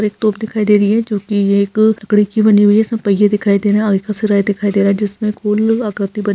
एक तोप दिखाई दे रही है जो की एक लकड़ी की बनी हुई है इसमे पैय्ये दिखाई दे रही है आगे का सिरा दिखाई दे रहा है जिसमे गुल आकृति बनी --